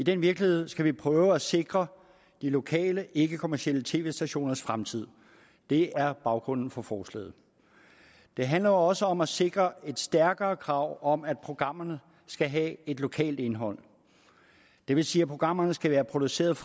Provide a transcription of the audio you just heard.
i den virkelighed skal vi prøve at sikre de lokale ikkekommercielle tv stationers fremtid det er baggrunden for forslaget det handler også om at sikre et stærkere krav om at programmerne skal have et lokalt indhold det vil sige at programmerne skal være produceret